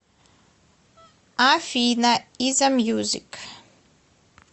афина изамьюзик